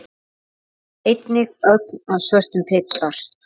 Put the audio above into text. Einnig ögn af svörtum pipar.